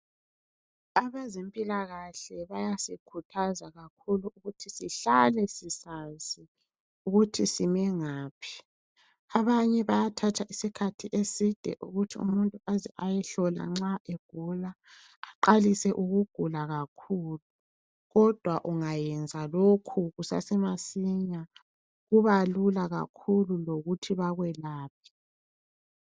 Abezempilakahle bayasikhuthaza kakhulu, ukuthi sihlale sisazi ukuthi sime ngaphi. Abanye bayathatha isikhathi eside ukuthi umuntu aze ayehlolwa nxa egula. Aqalise ukugula kakhulu! Kodwa ungayenza lokhu kusasemasinya, kuba lula kakhulu lokuthi bakwelaphe.